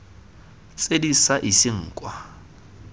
tse di sa iseng kwa